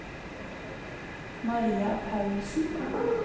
Maria Paulsen